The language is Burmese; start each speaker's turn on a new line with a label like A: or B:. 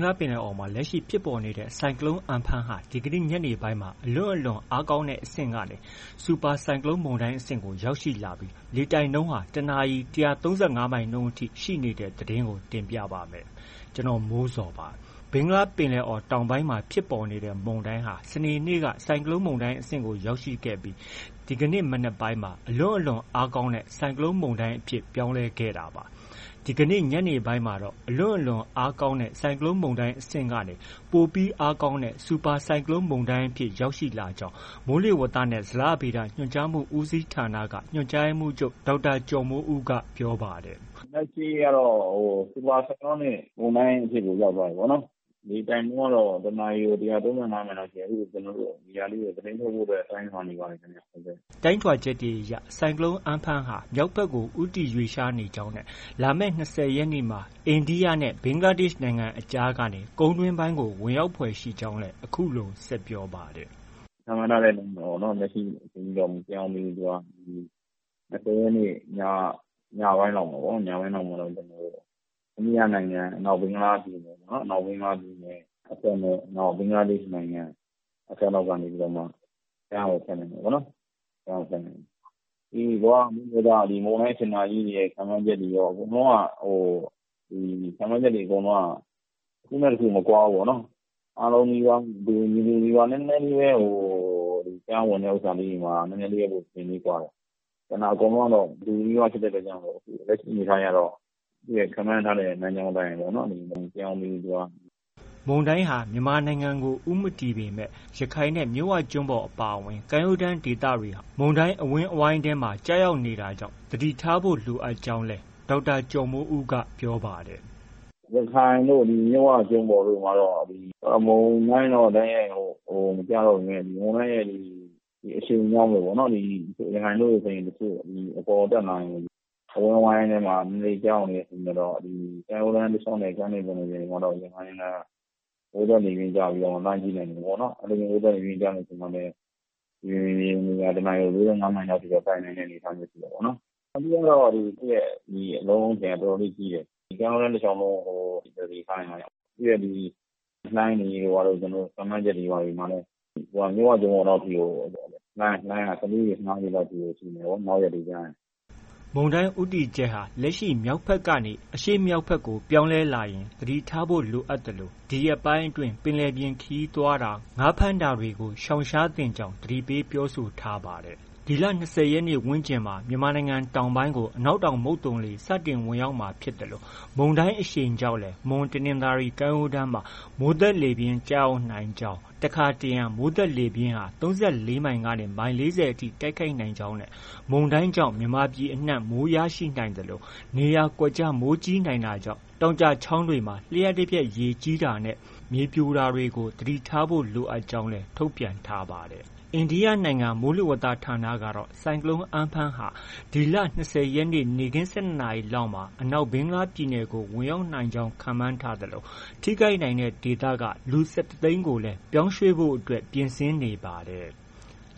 A: ္ဂလားပင်လယ်အော်မှာ လက်ရှိဖြစ်ပေါ်နေတဲ့ ဆိုင်ကလုန်းမုန်တိုင်း Amphan ဟာ ဒီနေ့ ညနေပိုင်းမှာ အလွန့်အလွန်အားကောင်းတဲ့အဆင့်ကနေ စူပါဆိုင်ကလုန်းမုန်တိုင်းအဆင့်ကို ရောက်ရှိလာပြီး တစ်နာရီ ၁၃၅ မိုင်နှုန်းအထိ ရှိနေတဲ့သတင်းကို တင်ပြပါမယ်။ ဒီအကြောင်း ဗွီအိုအေမြန်မာပိုင်း သတင်းထောက် ကိုမိုးဇော်က ပြောပြပေးပါမယ်။ ဘင်္ဂလားပင်လယ်အော်တောင်ပိုင်းမှာ ဖြစ်ပေါ်နေတဲ့ ဆိုင်ကလုန်းမုန်တိုင်းဟာ စနေနေ့က ဆိုင်ကလုန်း မုန်တိုင်းအဆင့်ကို ရောက်ရှိခဲ့ပြီး ဒီကနေ့ မနက်ပိုင်းမှာ အလွန့်အလွန်အားကောင်းတဲ့ ဆိုင်ကလုန်းမုန်တိုင်း အဖြစ်ပြောင်းလဲခဲ့တာပါ။ ဒီကနေ့ ညနေပိုင်းမှာတော့ အလွန့်အလွန်အားကောင်းတဲ့ ဆိုင်ကလုန်းမုန်တိုင်းအဆင့်ကနေ ပိုပြီးအားကောင်းတဲ့ စူပါဆိုင်ကလုန်းမုန်တိုင်းအဖြစ် ရောက်ရှိလာကြောင်း မိုးလေဝသနဲ့ ဇလဗေဒ ညွှန်ကြားမှု ဦးစီးဌာနက ညွှန်ကြားရေးမှူးချုပ် ဒေါက်တာကျော်မိုးဦးက ပြောပါတယ်။
B: “လက်ရှိကတော့ Super Cyclonic မုန်တိုင်းအဆင့်ကို ရောက်သွားပြီပေါ့နော်။ လေတိုက်နှုန်းကတော့ တစ်နာရီကို ၁၃၅ မိုင်လောက်ရှိတယ်။ အဲဒါကို သတင်းထုတ်ဖို့ ကျနော်တို့ တိုင်းထွာနေပါတယ်။”
A: တိုင်းထွာချက်တွေအရ ဆိုင်ကလုန်း Amphan ဟာ မြောက်ဘက်ကို ဦးတည်ရွှေ့လျားနေကြောင်းနဲ့ လာမယ့် ၂၀ ရက်နေ့မှာ အိန္ဒိယနဲ့ ဘင်္ဂလားဒေ့ရှ်နိုင်ငံအကြားကနေ ကုန်းတွင်းပိုင်းကို ဝင်ရောက်ဖွယ်ရှိကြောင်းလည်း အခုလို ဆက်ပြောပါတယ်
B: ။ "ခန့်မှန်းထားတဲ့အတိုင်းပဲပေါ့နော်။ လက်ရှိအချိန်အထိတော့ မပြောင်းသေးဘူး။ ၂၀ ရက်နေ့ည၊ ညပိုင်းလောက်မှာပေါ့။ အိန္ဒိယနိုင်ငံ အနောက်ဘင်္ဂလားပြည်နယ်အစပ်နဲ့ ဘင်္ဂလားဒေ့ရှ်နိုင်ငံ အစပ်လောက်ကနေပြီးတော့မှ ကမ်းကို ဖြတ်မယ်ပေါ့နော်။ ဒီ ကမ္ဘာမိုးလေဝသ၊ မုန်တိုင်းစင်တာကြီးတွေရဲ့ ခန့်မှန်းချက်တွေအရ အကုန်လုံးက တစ်ခုနဲ့ တစ်ခု မကွာဘူးပေါ့နော်။ အားလုံးလည်းပဲ တူညီပြီးသား နည်းနည်းလေးပဲ ကမ်းဝင်ဥစ္စာလေးတွေမှာ နည်းနည်းလေးပဲ အချိန်ကွာတယ်။ ကျန်တာ အကုန်နီးပါးအတူဖြစ်တဲ့အတွက်ကြောင့် လက်ရှိအနေအထားအရတော့ ခန့်မှန်းထားတဲ့ လမ်းကြောင်း မပြောင်းသေးဘူး။
A: ” မုန်တိုင်းဟာ မြန်မာနိုင်ငံကို ဦးမတည်ပေမဲ့ ရခိုင်နဲ့ မြစ်ဝကျွန်းပေါ်အပါအဝင် ကမ်းရိုးတမ်းဒေသတွေဟာ မုန်တိုင်းအဝန်းအဝိုင်းထဲမှာ ကျရောက်နေတာကြောင့် သတိထားကြဖို့လည်း ဒေါက်တာကျော်မိုးဦးက ပြောပါတယ်။
B: “ရခိုင်တို့ မြစ်ဝကျွန်းပေါ်တို့မှာတော့ မုန်တိုင်းတော့ တိုက်ရိုက် မကျရောက်ပေမဲ့ မုန်တိုင်းအရှိန်ကြောင့်ပေါ့။ ရခိုင်တို့ဆိုရင် အပေါ်တက်လာရင် အဝန်းအဝိုင်းထဲမှာ နည်းနည်းလေး ကျရောက်နေတဲ့အချိန်ကျတော့ ကမ်းရိုးတန်း တလျှောက်နဲ့ ကမ်းလွန်ပင်လယ်ပြင်တွေမှာတော့ ရံဖန်ရံခါ မိုးသက်လေပြင်းကျပြီး လှိုင်းပြင်းထန်မယ်ပေါ့။ အဲလို မိုးသက်လေပြင်းကျတဲ့အချိန်မှာလည်း မြေပြင်ရေပြင်လေဟာ တစ်နာရီ ၉၅ မိုင်လောက်အထိ တိုက်နိုင်တဲ့အနေအထားရှိတယ်ပေါ့နော်။ အဓိကကတော့ သူ့ရဲ့ အလုံးအထည်က အတော်လေး ကြီးတယ်။ ကမ်းရိုးတန်း တလျှောက်လုံး သတိထားနိုင်မှ ရမှာ။ သူရဲ့ဒီလှိုင်း ခန့်မှန်းချက်တွေမှာတော့ သူက မြစ်ဝကျွန်းပေါ်လောက်အထိမှာကို လှိုင်းက ၁၄ ပေ၊ ၁၅ပေလောက်အထိရှိမယ်။ နောက်ရက်တွေကျရင်။”
A: မုန်တိုင်းဦးတည်ချက်ဟာ လက်ရှိမြောက်ဘက်ကနေ အရှေ့မြောက်ဘက်ကို ပြောင်းမယ်လာရင် သတိထားဖို့ လိုအပ်သလို ဒီရက်ပိုင်းအတွင်း ပင်လယ်ပြင်ခရီးသွားတာ၊ ငါးဖမ်းတာတွေကို ရှောင်ရှားသင့်ကြောင်း သတိပေးပြောဆိုထားပါတယ်။ ဒီလ ၂၀ရက်နေ့ဝန်းကျင်မှာ မြန်မာပြည် တောင်ပိုင်းကို အနောက်တောင်မုတ်သုန်လေ စတင်ဝင်ရောက်မှာဖြစ်သလို မုန်တိုင်းအရှိန်ကြောင့်လည်း မွန်၊တနင်္သာရီ ကမ်းရိုးတန်းမှာ မိုးသက်လေပြင်း ကျရောက်နိုင်ကြောင်း၊ တစ်ခါတစ်ရံ မိုးသက်လေပြင်းဟာ ၃၄ မိုင်ကနေ မိုင် ၄၀ထိ တိုက်ခတ်နိုင်ကြောင်းနဲ့ မုန်တိုင်းကြောင့် မြန်မာပြည်အနှံ့ မိုးရရှိနိုင်သလို နေရာကွက်ကျား မိုးကြီးနိုင်တာကြောင့် တောင်ကျချောင်းတွေမှာ လျှပ်တပြက် ရေကြီးတာနဲ့ မြေပြိုတာတွေကို သတိထားဖို့ လိုကြောင်းလည်း ထုတ်ပြန်ထားပါတယ်။ အိန္ဒိယနိုင်ငံ မိုးလေဝသဌာနကတော့ ဆိုင်ကလုန်း Amphan ဟာ ဒီလ ၂၀ ရက်နေ့ နေ့ခင်း ၁၂ နာရီလောက်မှာ အနောက်ဘင်္ဂလားပြည်နယ်ကို ဝင်ရောက်နိုင်ကြောင်း ခန့်မှန်ထားသလို ထိခိုက်နိုင်တဲ့ဒေသက လူ ၁၁ သိန်းကို ပြောင်းရွှေ့ဖို့ ပြင်ဆင်နေပါတယ်။